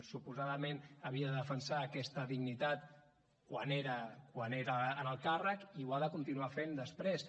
suposadament havia de defensar aquesta dignitat quan era en el càrrec i ho ha de continuar fent després